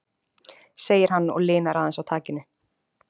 segir hann og linar aðeins á takinu.